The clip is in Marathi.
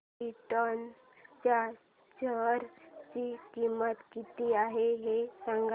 क्रिप्टॉन च्या शेअर ची किंमत किती आहे हे सांगा